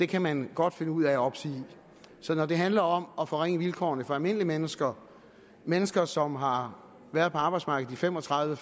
kan man godt finde ud af at opsige så når det handler om at forringe vilkårene for almindelige mennesker mennesker som har været på arbejdsmarkedet i fem og tredive